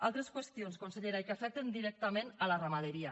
altres qüestions consellera i que afecten directament la ramaderia